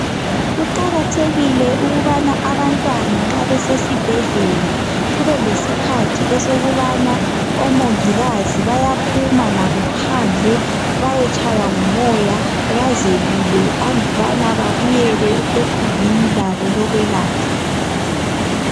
Kuqakathekile ukubana abantwana nxa besesibhedlela kubelesikhathi esokubana omongikazi bayaphuma labo phandle bayetshaywa ngumoya bazelule andubana babuyele ekhumbini labo lokwelatshwa.